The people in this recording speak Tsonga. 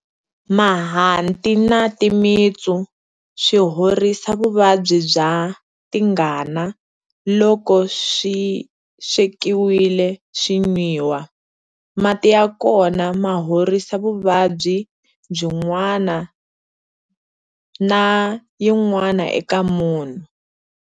Mahanti na timitsu swi horisa vuvabyi bya tingana loko swi swekiwile swi nwiwa. Mati ya kona ma horisa vuvabyi byin'wana na yin'wana eka munhu.